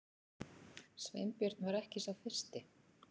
Sveinbjörn var ekki sá fyrsti.